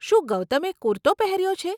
શું ગૌતમે કુરતો પહેર્યો છે?